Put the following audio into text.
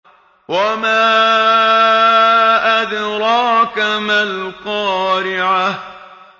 وَمَا أَدْرَاكَ مَا الْقَارِعَةُ